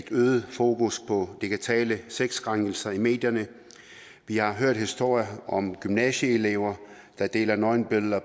øget fokus på digitale sexkrænkelser i medierne vi har hørt historier om gymnasieelever der deler nøgenbilleder